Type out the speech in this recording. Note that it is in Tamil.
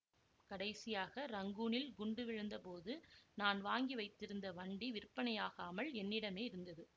கடைசியாக ரங்கூனில் குண்டு விழுந்த போது நான் வாங்கி வைத்திருந்த வண்டி விற்பனையாகாமல் என்னிடமே இருந்தது